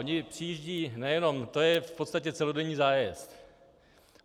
Oni přijíždějí nejenem - to je v podstatě celodenní zájezd.